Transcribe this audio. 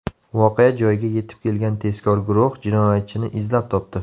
Voqea joyiga yetib kelgan tezkor guruh jinoyatchini izlab topdi.